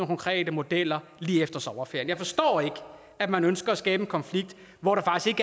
konkrete modeller lige efter sommerferien jeg forstår ikke at man ønsker at skabe en konflikt hvor der faktisk